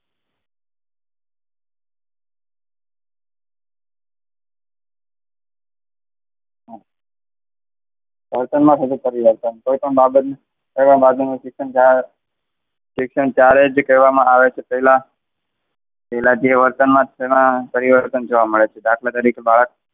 વર્તનમાં થતો પરિવર્તન કોઈપણ બાબત શિક્ષણ ત્યારે કહેવામાં આવે છે પહેલા, પહેલા જે વર્તનમાં પરિવર્તન જોવા મળે છે દાખલા તરીકે,